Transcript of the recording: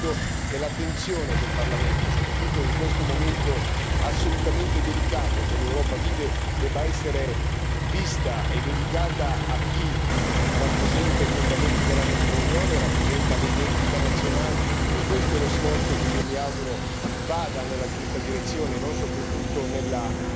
Ecco, io credo che l'attenzione del Parlamento, soprattutto in questo momento assolutamente delicato che l'Europa vive, debba essere vista e dedicata a chi rappresenta i fondamenti della nostra Unione, rappresenta le identità nazionali, e questo è lo sforzo che io mi auguro vada nella giusta direzione e non soprattutto nella